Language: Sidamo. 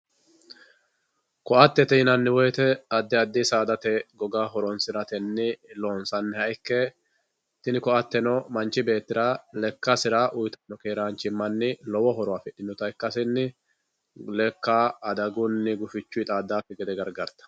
Koattete yinanni woyite adi adi saadate goga horonsiratenni loonsanniha ikke tini koateno manchi beettira lekkasira uuyitano keerranchimanni lowo horo afidhinota ikkasenni leka adagunni gufichunni xaadakki gede gargaritawo